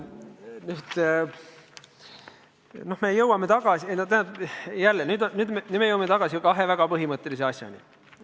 Nüüd me aga jõuame tagasi kahe väga põhimõttelise asjani.